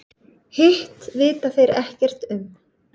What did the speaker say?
Hitt vita þeir ekkert um.